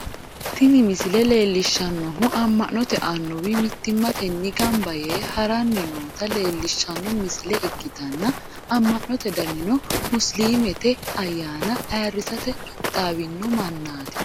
tini misile leellishshannohu amma'note annuwi mittimmatenni gamba yee ha'ranni noota leellishshanno misile ikkitanna, amma'note danino musiliimete ayyaana ayiirsate qixxaawino mannaati.